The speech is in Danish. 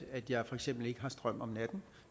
jeg for eksempel ikke har strøm om natten